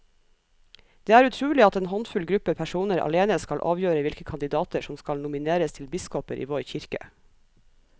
Det er utrolig at en håndfull gruppe personer alene skal avgjøre hvilke kandidater som skal nomineres til biskoper i vår kirke.